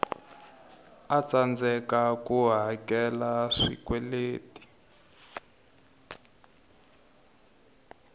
a tsandzekaku ku hakela swikweletu